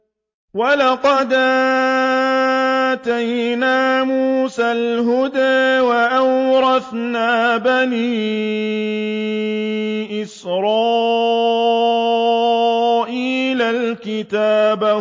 وَلَقَدْ آتَيْنَا مُوسَى الْهُدَىٰ وَأَوْرَثْنَا بَنِي إِسْرَائِيلَ الْكِتَابَ